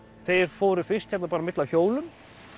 þeir fóru fyrst á milli á hjólum